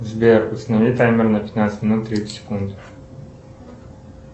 сбер установи таймер на пятнадцать минут тридцать секунд